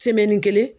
kelen